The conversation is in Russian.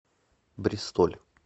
бристоль